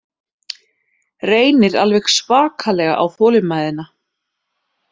Reynir alveg svakalega á þolinmæðina